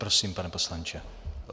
Prosím, pane poslanče.